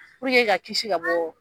ka kisi ka bɔ